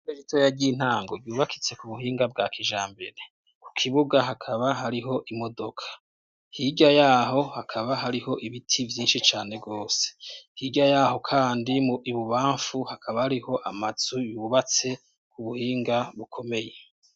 Ishure ritoya ry'ontango yubakitse ku buhinga bwa kijambere ku kibuga hakaba hariho imodoka hirya yaho hakaba hariho ibiti vyinshi cane bwose hirya yaho kandi mu ibubamfu hakaba hariho amazu bubatse ku buhinga bukomeye.